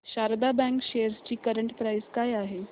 Sharda bank shares ची current price काय आहे